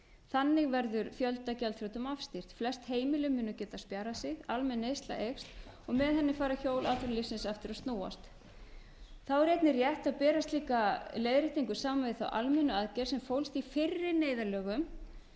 þannig verður fjöldagjaldþrotum afstýrt flest heimili munu geta spjarað sig almenn neysla eykst og með henni fara hjól atvinnulífsins aftur að snúast þá er einnig rétt að bera slíka leiðréttingu saman við þá almennu aðgerð sem fólst í fyrri neyðarlögum